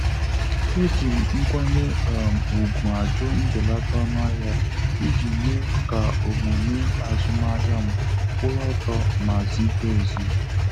E jim nkwanye um ùgwù a jụ mbelata ọnụahịa iji mee ka omume azụmahịa m kwụrụ ọtọ ma zikwaa ezi.